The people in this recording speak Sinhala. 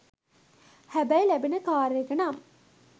හැබැයි ලැබෙන කාර් එක නම්